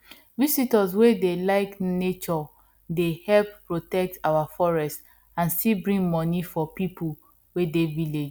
visitors wey dey like nature dey help protect our forest and still bring money for people wey dey village